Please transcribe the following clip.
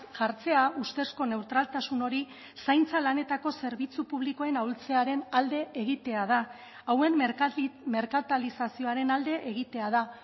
jartzea ustezko neutraltasun hori zaintza lanetako zerbitzu publikoen ahultzearen alde egitea da hauen merkatalizazioaren alde egitea da